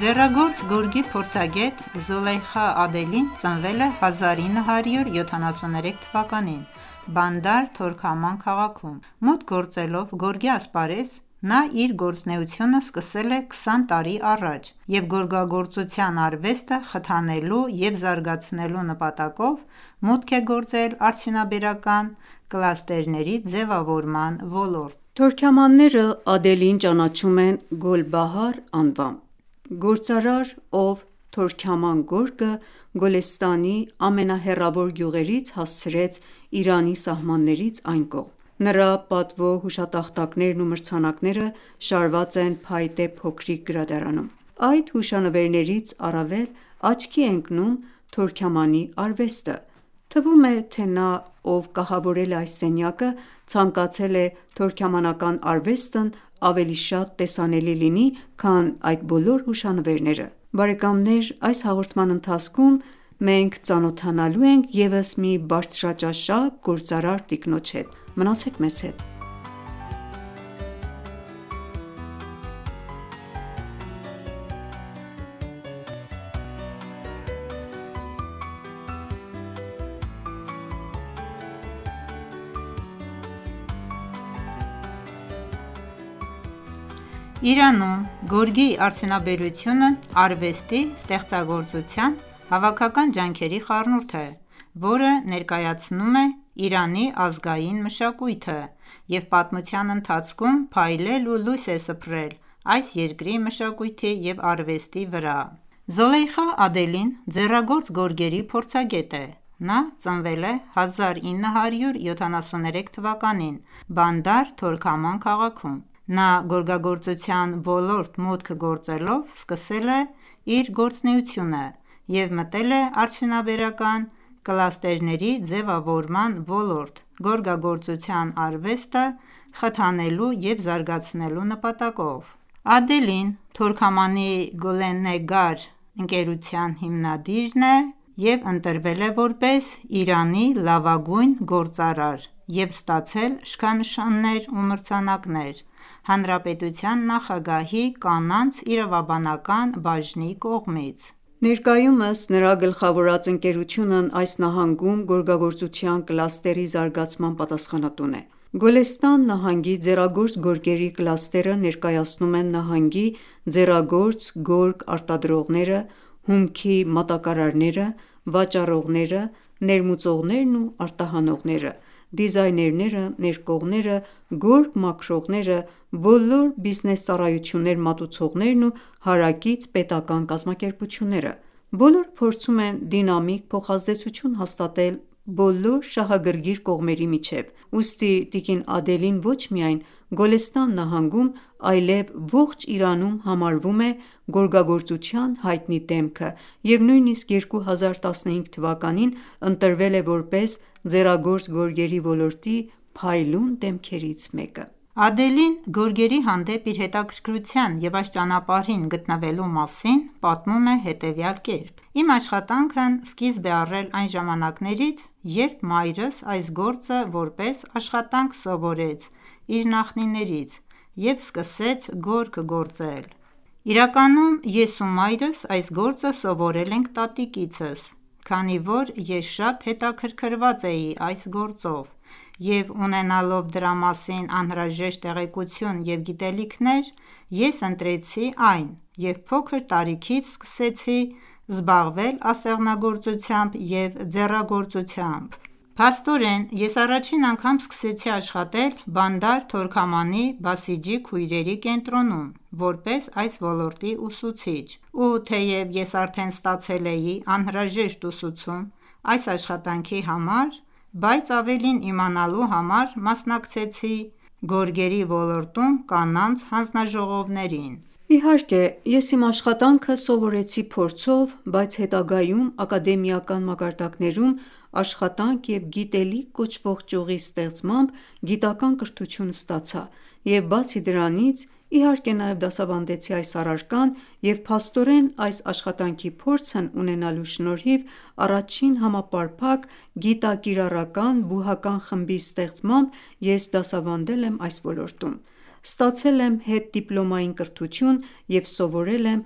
Ձեռագործ գորգի փորձագետ Զոլեյխա Ադելին ծնվել է 1973 թվականին (իրանական 1352 թ.) Բանդար Թորքաման քաղաքում։ Մուտք գործելով գորգի ասպարեզ, նա իր գործունեությունը սկսել է 20 տարի առաջ և գորգագործության արվեստը խթանելու և զարգացնելու նպատակով մուտք է գործել արդյունաբերական կլաստերների ձևավորման ոլորտ: Թորքամանները Ադելիին ճանաչում են Գոլբահար անվամբ: Գործարար, ով «Թորքաման գորգը» Գոլեստանի ամենահեռավոր գյուղերից հասցրեց Իրանի սահմաններից այն կողմ։ Նրա պատվո հուշատախտակներն ու մրցանակները շարված են փայտե փոքրիկ գրադարանում։ Այդ հուշանվերներից առավել աչքի է ընկնում Թորքամանի արվեստը: Թվում է, թե նա ով կահավորել է այս սենյակը, ցանկացել է Թորքամանական արվեստն ավելի շատ տեսանելի լինի, քան այդ բոլոր հուշանվերները։ Այս հաղորդման ընթացքում մենք ծանոթանալու ենք ևս մի բարձրաճաշակ գործարար տիկնոջ հետ: Մնացեք մեզ հետ։ Իրանում գորգի արդյունաբերությունն արվեստի, ստեղծագործության, հավաքական ջանքերի խառնուրդ է,որը ներկայացնում է Իրանի ազգային մշակույթը,և պատմության ընթացքում փայլել ու լույս է սփռել այս երկրի մշակույթի և արվեստի վրա: Զոլեյխա Ադելին, ձեռագործ գորգերի փորձագետ է: Նա ծնվել է 1973 թվականին (իրանական 1352 թ.) Բանդար Թորքաման քաղաքում: Նա գորգագործության ոլորտ մուտք գործելով սկսել է իր գործունեությունը և մտել է արդյունաբերական կլաստերների ձևավորման ոլորտ գորգագործության արվեստը խթանելու և զարգացնելու նպատակով։ Ադելին Թորքամանի Գոլնեգար ընկերության հիմնադիրն է և ընտրվել է,որպես Իրանի լավագույն գործարար և ստացել շքանշաններ ու մրցանակներ Հանրապետության նախագահի կանանց իրավաբանական բաժնի կողմից։ Ներկայումս նրա գլխավորած ընկերությունն այս նահանգում գորգագործության կլաստերի զարգացման պատասխանատուն է։ Գոլեստան նահանգի ձեռագործ գորգերի կլաստերը ներկայացնում են նահանգի ձեռագործ գորգ արտադրողները, հումքի մատակարարները, վաճառողները, ներմուծողներն ու արտահանողները, դիզայներները, ներկողները, գորգ մաքրողները, բոլոր բիզնես ծառայություններ մատուցողներն ու հարակից պետական ​​կազմակերպությունները: Բոլորը փորձում են դինամիկ փոխազդեցություն հաստատել բոլոր շահագրգիռ կողմերի միջև: Ուստի տիկին Ադելին ոչ միայն Գոլեստան նահանգում այլև ողջ Իրանում համարվում է գորգագործության հայտնի դեմքը, և նույնիսկ 2015 թվականին (իրանական 1394 թ.) ընտրվել է որպես ձեռագործ գորգերի ոլորտի փայլուն դեմքերից մեկը։ Տիկին Զոլեյխա Ադելին պարգևատրվում է ձեռագործ գորգերի ոլորտում փայլելու շքանշանով Ադելին գորգերի հանդեպ իր հետաքրքրության և այս ճանապարհին գտնվելու մասին պատմում է հետևյալ կերպ. «Իմ աշխատանքն սկիզբ է առել այն ժամանակներից, երբ մայրս այս գործը որպես աշխատանք սովորեց իր նախնիներից և սկսեց գորգ գործել։ Իրականում ես ու մայրս այս գործը սովորել ենք տատիկիցս։ Քանի որ ես շատ հետաքրքրված էի այս գործով և ունենալով դրա մասին անհրաժեշտ տեղեկություն և գիտելիքներ, ես ընտրեցի այն և փոքր տարիքից սկսեցի զբաղվել ասեղնագործությամբ և ձեռագործությամբ: Փաստորեն, ես առաջին անգամ սկսեցի աշխատել Բանդար Թորքամանի Բասիջի քույրերի կենտրոնում որպես այս ոլորտի ուսուցիչ։ Ու թեև ես արդեն ստացել էի անհրաժեշտ ուսուցում այս աշխատանքի համար, բայց ավելին իմանալու համար մասնակցեցի գորգերի ոլորտում կանանց հանձնաժողովներին։ Իհարկե ես իմ աշխատանքը սովորեցի փորձով, բայց հետագայում ակադեմիական մակարդակներում աշխատանք և գիտելիք կոչվող ճյուղի ստեղծմամբ գիտական ​​կրթություն ստացա և բացի դրանից, իհարկե, նաև դասավանդեցի այս առարկան և փաստորեն այս աշխատանքի փորձն ունենալու շնորհիվ առաջին համապարփակ գիտակիրառական բուհական խմբի ստեղծմամբ ես դասավանդել և այս ոլորտում: Ստացել եմ հետդիպլոմային կրթություն և սովորել եմ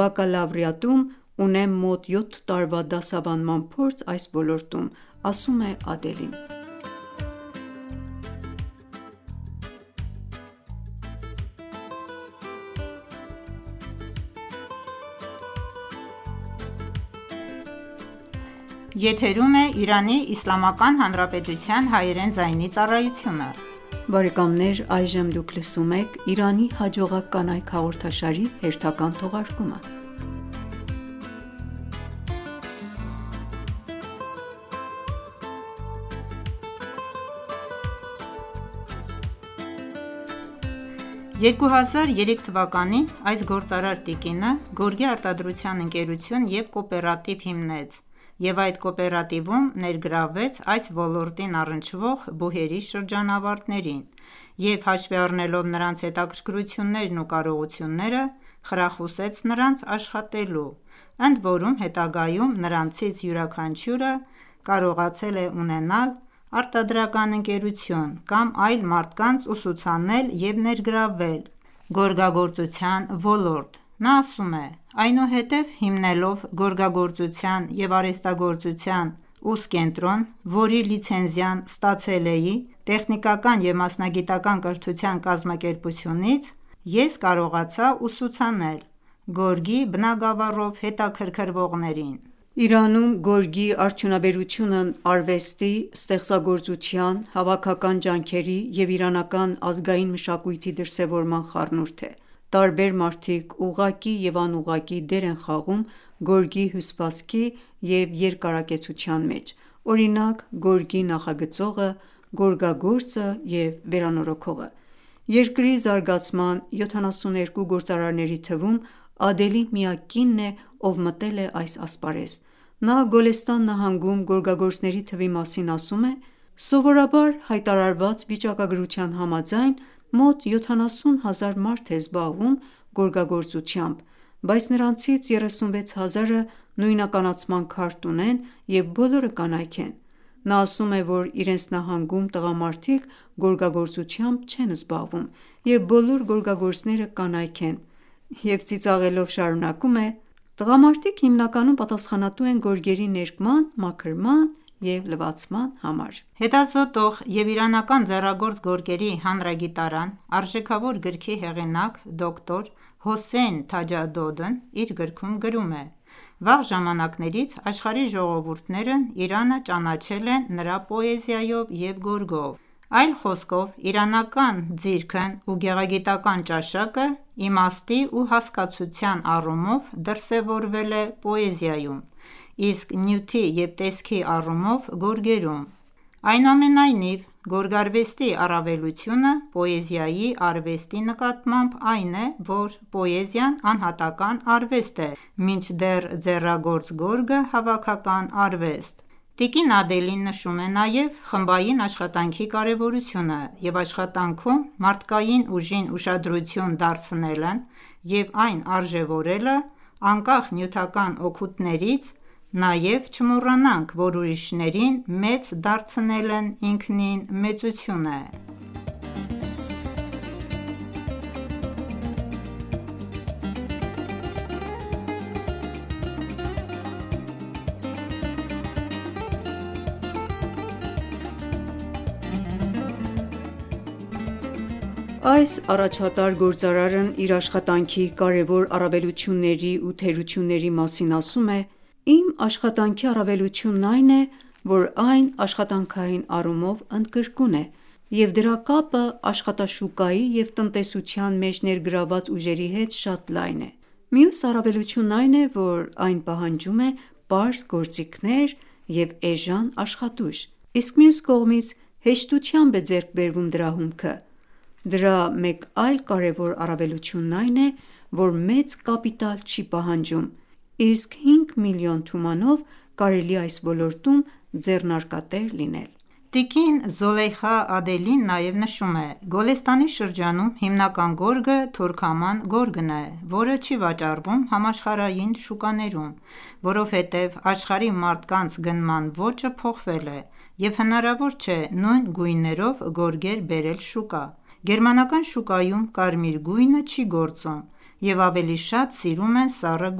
բակալավրիատում, ունեմ մոտ 7 տարվա դասավանդման փորձ այս ոլորտում։ 2003 թվականին (իրանական 1382 թ.) այս գործարար տիկինը գորգի արտադրության ընկերություն և կոոպերատիվ հիմնեց և այդ կոոպերատիվում ներգրավեց այս ոլորտին առնչվող բուհերի շրջանավարտներին և հաշվի առնելով նրանց հետաքրքրություններն ու կարողությունները, խրախուսեց նրանց աշխատելու, ընդորում հետագայում նրանցից յուրաքանչյուրը կարողացել է ունենալ արտադրական ընկերություն կամ այլ մարդկանց ուսուցանել ու ներգրավվել գորգագործության ոլորտ:Նա ասում է.-«Այնուհետև հիմնելով գորգագործության և արհեստագործության ուսկենտրոն, որի լիցենզիան ստացել էի Տեխնիկական և մասնագիտական ​​կրթության կազմակերպությունից, ես կարողացա ուսուցանել գորգի բնագավառով հետաքրքրվողներին: Իրանում գորգի արդյունաբերությունն արվեստի, ստեղծագործության, հավաքական ջանքերի և իրանական ազգային մշակույթի դրսևորման խառնուրդ է: Տարբեր մարդիկ ուղղակի և անուղղակի դեր են խաղում գորգի հյուսվածքի և երկարակեցության մեջ, օրինակ՝ գորգի նախագծողը, գորգագործը և վերանորոգողը: Երկրի զարգացման 72 գործարարների թվում Ադելին միակ կինն է, ով մտել է այս ասպարեզ։ Նա Գոլեստան նահանգում գորգագործների թվի մասին ասում է. «Սովորաբար հայտարարված վիճակագրության համաձայն՝ մոտ 70 հազար մարդ է զբաղվում գորգագործությամբ, բայց նրանցից 36 հազարը նույնականացման քարտ ունեն, և բոլորը կանայք են»։ Նա ասում է, որ իրենց նահանգում տղամարդիկ գորգագործությամբ չեն զբաղվում, և բոլոր գորգագործները կանայք են, և ծիծաղելով շարունակում է,-«Տղամարդիկ հիմնականում պատասխանատու են գորգերի ներկման, մաքրման և լվացման համար»: Հետազոտող և «Իրանական ձեռագործ գորգերի հանրագիտարան» արժեքավոր գրքի հեղինակ Դոկտոր Հոսեյն Թաջադոդն իր գրքում գրում է.-«Վաղ ժամանակներից աշխարհի ժողովուրդներն Իրանը ճանաչել են նրա պոեզիայով և գորգով: Այլ խոսքով իրանական ձիրքն ու գեղագիտական ​​ճաշակը իմաստի ու հասկացության առումով դրսևորվել է պոեզիայում, իսկ նյութի և տեսքի առումով գորգերում։ Այնուամենայնիվ, գորգարվեստի առավելությունը պոեզիայի արվեստի նկատմամբ այն է, որ պոեզիան անհատական ​​արվեստ է, մինչդեռ ձեռագործ գորգը հավաքական արվեստ է: Տիկին Ադելին նշում է նաև խմբային աշխատանքի կարևորությունը և աշխատանքում մարդկային ուժին ուշադրություն դարձնելն ու այն արժեւորելը անկախ նյութական օգուտներից։ Նաև չմոռանանք, որ ուրիշներին մեծ դարձնելն ինքնին մեծություն է: Այս առաջատար գործարարն իր աշխատանքի կարևոր առավելությունների ու թերությունների մասին ասում է.- «Իմ աշխատանքի առավելությունն այն է, որ այն աշխատանքային առումով ընդգրկուն է, և դրա կապը աշխատաշուկայի և տնտեսության մեջ ներգրավված ուժերի հետ շատ լայն է։ Մյուս առավելությունն այն է, որ այն պահանջում է պարզ գործիքներ և էժան աշխատուժ, իսկ մյուս կողմից՝ հեշտությամբ է ձեռք բերվում դրա հումքը։ Դրա մեկ այլ կարեւոր առավելությունն այն է, որ մեծ կապիտալ չի պահանջում, իսկ 5 մլն թումանով կարելի է այս ոլորտում ձեռնարկատեր լինել»։ Նա նաեւ նշում է.«Գոլեստանի շրջանում հիմնական գորգը թորքաման գորգն է, որը չի վաճառվում համաշխարհային շուկաներում։ Որովհետև աշխարհի մարդկանց գնման ոճը փոխվել է, և հնարավոր չէ նույն գույներով գորգեր բերել շուկա։ Գերմանական շուկայում կարմիր գույնը չի գործում, և ավելի շատ սիրում են սառը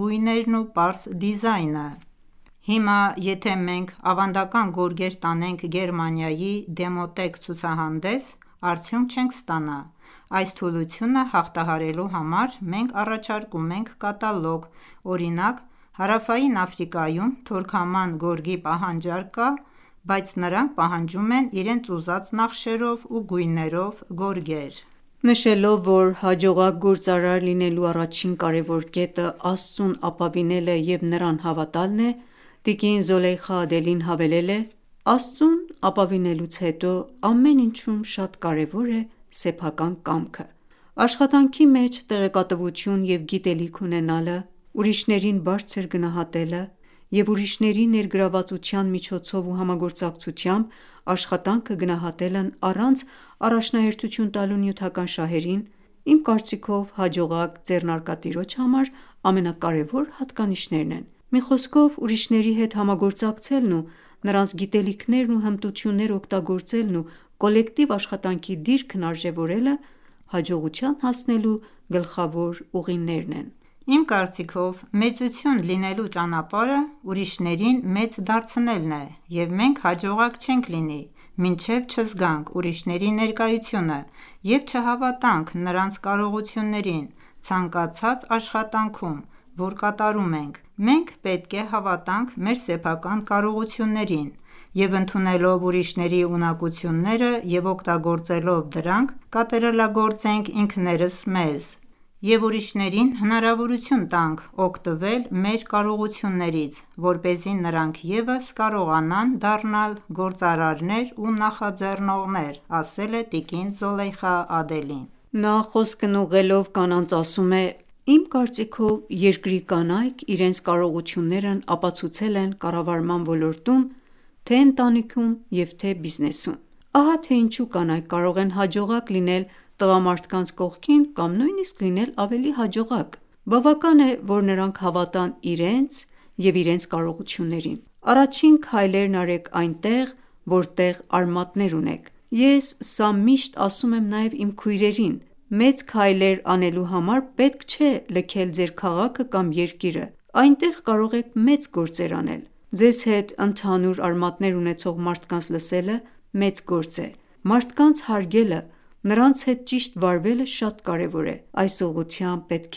գույներն ու պարզ դիզայնը։ Հիմա, եթե մենք դեռ ավանդական գորգեր տանենք Գերմանիայի Demotex ցուցահանդես, արդյունք չենք ստանա։ Այս թուլությունը հաղթահարելու համար մենք առաջարկում ենք կատալոգ, օրինակ՝ Հարավային Աֆրիկայում թորքաման գորգի պահանջարկ կա, բայց նրանք պահանջում են իրենց ուզած նախշերով ու գույներով գորգեր»: Նշելով որ հաջողակ գործարար լինելու առաջին կարևոր կետը՝ Աստծուն ապավինելը և Նրան հավատալն է, տիկին Զոլեյխա Ադելին հավելել է.-«Աստծուն ապավինելուց հետո, ամեն ինչում շատ կարևոր է սեփական կամքը։ Աշխատանքի մեջ տեղեկատվություն և գիտելիք ունենալը, ուրիշներին բարձր գնահատելը և ուրիշների ներգրավվածության միջոցով ու համագործակցությամբ աշխատանքը գնահատելն առանց առաջնահերթություն տալու նյութական շահերին, իմ կարծիքով հաջողակ ձեռնարկատիրոջ համար ամենակարևոր հատկանիշներն են, մի խոսքով ուրիշների հետ համագործակցելն ու նրանց գիտելիքներն ու հմտությունները օգտագործելն ու կոլեկտիվ աշխատանքի դիրքն արժեւորելը հաջողության հասնելու գլխավոր ուղին է»։ Իմ կարծիքով, մեծություն լինելու ճանապարհը ուրիշներին մեծ դարձնելն է, և մենք հաջողակ չենք լինի, մինչև չզգանք ուրիշների ներկայությունը և չհավատանք նրանց կարողություններին ցանկացած աշխատանքում, որ կատարում ենք: Մենք պետք է հավատանք մեր սեփական կարողություններին և ընդունելով ուրիշների ունակությունները և օգտագործելով դրանք կատարելագործենք ինքներս մեզ և ուրինշներին հնարավորություն տանք օգտվել մեր կարողություններից, որպեսզի նրանք ևս կարողանան դառնալ գործարարներ ու նախաձեռնողներ».-ասել է տիկին Զոլեյխա Ադելին: Նա խոսքն ուղղելով կանանց ասում է.- «Իմ կարծիքով, երկրի կանայք իրենց կարողություններն ապացուցել են կառավարման ոլորտում՝ թե՛ ընտանիքում,և թե՛ բիզնեսում: Ահա թե ինչու կանայք կարող են հաջողակ լինել տղամարդկանց կողքին կամ նույնիսկ լինել ավելի հաջողակ: Բավական է, որ նրանք հավատան իրենց և իրենց կարողություններին։ Առաջին քայլերն արեք այնտեղ, որտեղ արմատներ ունեք։ Ես սա միշտ ասում եմ նաև իմ քույրերին: Մեծ քայլեր անելու համար պետք չէ լքել ձեր քաղաքը կամ երկիրը։ Այնտեղ կարող եք մեծ գործեր անել։ Ձեզ հետ ընդհանուր արմատներ ունեցող մարդկանց լսելը մեծ գործ է: Մարդկանց հարգելը, նրանց հետ ճիշտ վարվելը շատ կարևոր է: Այս ուղղությամբ պետք